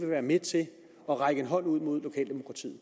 være med til at række hånden ud mod lokaldemokratiet